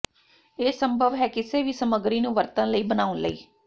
ਇਹ ਸੰਭਵ ਹੈ ਕਿਸੇ ਵੀ ਸਮੱਗਰੀ ਨੂੰ ਵਰਤਣ ਲਈ ਬਣਾਉਣ ਲਈ